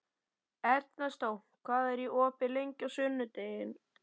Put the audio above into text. Ernestó, hvað er opið lengi á sunnudaginn?